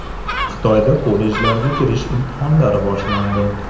Xitoyda kollejlarga kirish imtihonlari boshlandi.